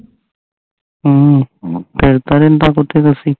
ਹਮ ਫੇਰ ਤਾਂ ਨੀ ਦੱਸੀ